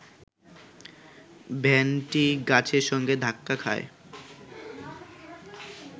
ভ্যানটি গাছের সঙ্গে ধাক্কা খায়